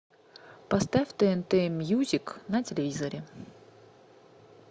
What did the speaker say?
поставь тнт мьюзик на телевизоре